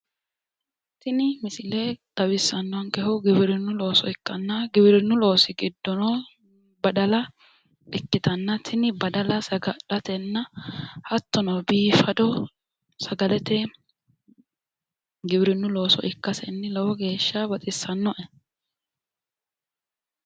tini misile xawissannonkehu giwirinnu looso ikkanna giwirinnu loosi giddono badala ikkitanna tini badala saga'latenna hattono biifado sagalete giwirinnu looso ikkasenni lowo geeshsha baxissannoe.